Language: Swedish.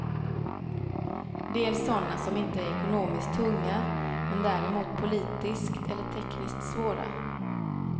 Dels sådana som inte är ekonomiskt tunga men däremot politiskt eller tekniskt svåra.